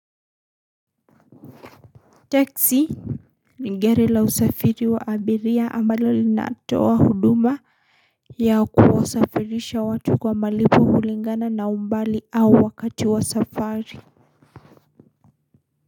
Teksi ni gari la usafiri wa abiria ambalo linatoa huduma ya kuwasafirisha watu kwa malipo hulingana na umbali au wakati wa safari.